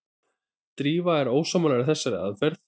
Drífa er ósammála þessari aðferð.